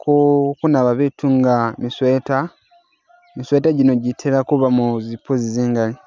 ku kunaba biitu nga mi sweater, mi sweater gino gitela kubaamo zipuzi zingaali.